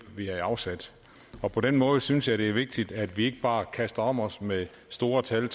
vi havde afsat på den måde synes jeg det er vigtigt at vi ikke bare kaster om os med store tal